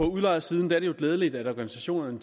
udlejersiden er det glædeligt at organisationerne